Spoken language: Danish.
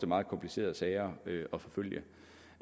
meget komplicerede sager at forfølge